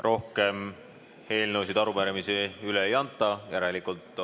Rohkem eelnõude ja arupärimiste üleandmise soovi ei ole.